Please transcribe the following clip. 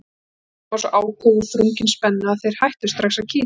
Rödd Svenna var svo áköf og þrungin spennu að þeir hættu strax að kýta.